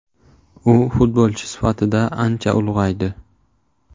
U futbolchi sifatida ancha ulg‘aydi.